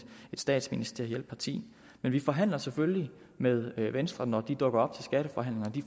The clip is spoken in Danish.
statsministerielt parti men vi forhandler selvfølgelig med venstre når de dukker op til skatteforhandlinger de